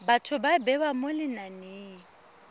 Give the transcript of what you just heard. batho ba bewa mo lenaneng